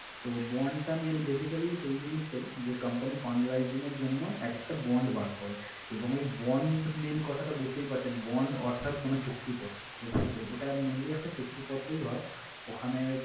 তো, bond টা main basically সেই জিনিসটাই যে company fund rising এর জন্য এক একটা bond বার করে এবং ওই bond main কথাটা বুঝতেই পারছেন bond অর্থাৎ কোন চুক্তিপত্র। তো সেই ওটা mainly একটা চুক্তিপত্রই হয়। ওখানে